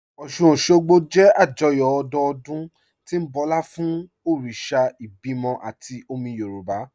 Ọ́ṣun-Òṣogbo jẹ́ àjọyọ̀ ọdọọdún tí ń bọlá fún òrìṣà ìbímọ àti omi Yorùb